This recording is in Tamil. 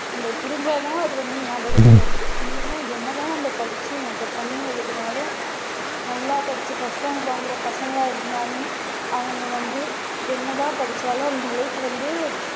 நமக்கு புரிஞ்சாதான் அது வந்து ஞாபகத்துல இருக்கும் இல்லன்னா என்ன தான நம்ம படிச்சி mugup பண்ணி எழுதுனாலும் நல்லா படிச்சி first rank வாங்குற பசங்களா இருந்தாலும் அவங்க வந்து என்ன தான் படிச்சாலும் அந்த அளவுக்கு வந்து